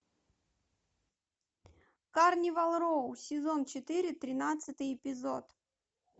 карнивал роу сезон четыре тринадцатый эпизод